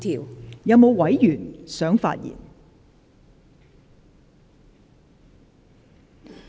是否有委員想發言？